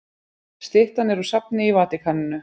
Styttan er úr safni í Vatíkaninu.